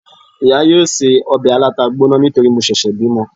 iya yóò se òbè alatá gboná nítorí mo sèsè bimò